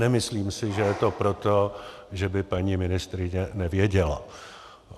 Nemyslím si, že je to proto, že by paní ministryně nevěděla.